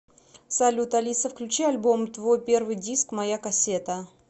салют алиса включи альбом твой первый диск моя кассета